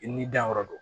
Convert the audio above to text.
I n'i danyɔrɔ do